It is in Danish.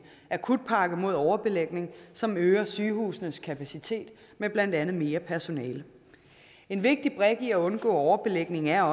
akutpakke mod overbelægning som øger sygehusenes kapacitet med blandt andet mere personale en vigtig brik i at undgå overbelægning er